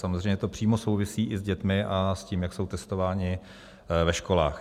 Samozřejmě to přímo souvisí i s dětmi a s tím, jak jsou testované ve školách.